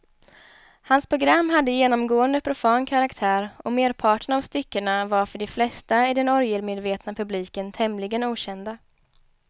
Hans program hade genomgående profan karaktär och merparten av styckena var för de flesta i den orgelmedvetna publiken tämligen okända.